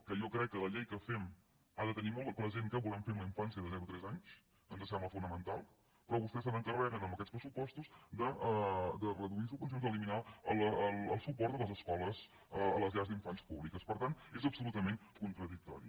que jo crec que la llei que fem ha de tenir molt present què volem fer amb la infància de zero a tres anys ens sembla fonamental però vostès s’en·carreguen amb aquests pressupostos de reduir sub·vencions d’eliminar el suport a les escoles a les llars d’infants públiques per tant és absolutament contra·dictori